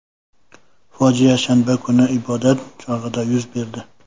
Fojia shanba kungi ibodat chog‘ida yuz berdi.